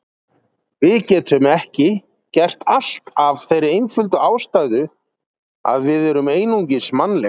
Við getum ekki gert allt af þeirri einföldu ástæðu að við erum einungis mannleg.